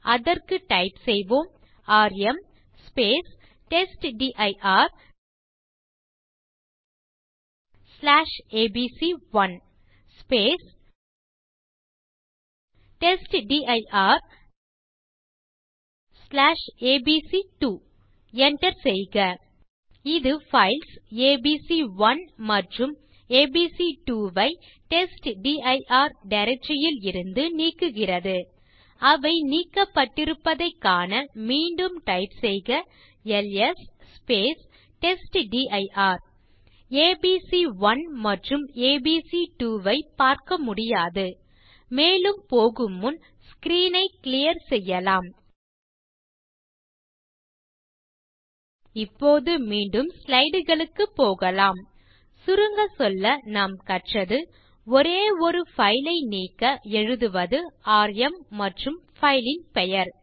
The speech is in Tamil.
அதற்கு டைப் செய்வோம் ராம் testdirஏபிசி1 testdirஏபிசி2 enter செய்க இது பைல்ஸ் ஏபிசி1 மற்றும் ஏபிசி2 ஐ டெஸ்ட்டிர் டைரக்டரி யில் இருந்து நீக்குகிறது அவை நீக்கப்பட்டிருப்பதைக் காண மீண்டும் டைப் செய்க எல்எஸ் டெஸ்ட்டிர் ஏபிசி1 மற்றும் ஏபிசி2 ஐ பார்க்க முடியாது மேலும் போகு முன் ஸ்க்ரீன் ஐ கிளியர் செய்யலாம் இப்போது மீண்டும் ஸ்லைடு களுக்குப் போகலாம் சுருங்க சொல்ல நாம் கற்றது ஒரே ஒரு பைல் ஐ நீக்க எழுதுவது ராம் மற்றும் பைல் ன் பெயர்